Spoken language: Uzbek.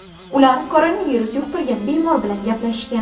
Ular koronavirus yuqtirgan bemor bilan gaplashgan.